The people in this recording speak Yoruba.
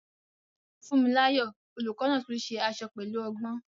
Funmilayo, the teacher, also makes dresses skillfully.